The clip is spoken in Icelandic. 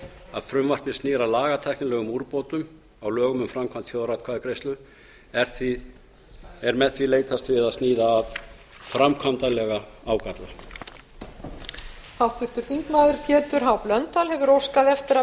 að frumvarpið snýr að lagatæknilegum úrbótum á lögum um framkvæmd þjóðaratkvæðagreiðslu er með því leitast við að sníða af framkvæmdarlega ágalla